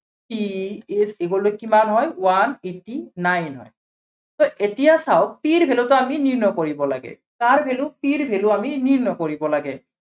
c is equal to কিমান হয় one eighty nine হয়। so এতিয়া চাওক C ৰ value টো আমি নিৰ্ণয় কৰিব লাগে। কাৰ value c ৰ value আমি নিৰ্ণয় কৰিব লাগে।